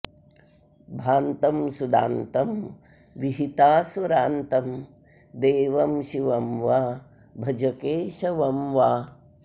भान्तं सुदान्तं विहितासुरान्तं देवं शिवं वा भज केशवं वा